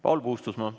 Paul Puustusmaa.